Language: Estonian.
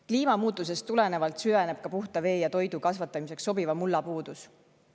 Kliimamuutusest tulenevalt süveneb puhta vee ja toidu kasvatamiseks sobiva mulla puudus.